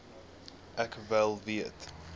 ek wel weet